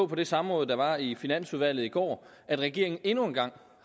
det samråd der var i finansudvalget i går at regeringen endnu en gang